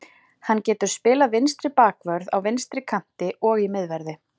Hann getur spilað vinstri bakvörð, á vinstri kanti og í miðverði.